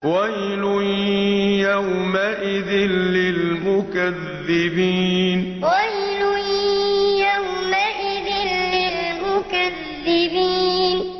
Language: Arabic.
وَيْلٌ يَوْمَئِذٍ لِّلْمُكَذِّبِينَ وَيْلٌ يَوْمَئِذٍ لِّلْمُكَذِّبِينَ